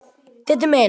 Diddi minn!